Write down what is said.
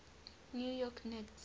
new york knicks